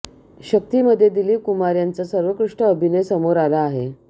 शक्तीमध्ये दिलीप कुमार यांचा सर्वोत्कृष्ट अभिनय समोर आला आहे